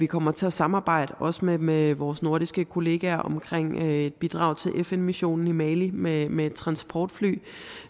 kommer til at samarbejde med vores nordiske kollegaer omkring et bidrag til fn missionen i mali med et med et transportfly